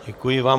Děkuji vám.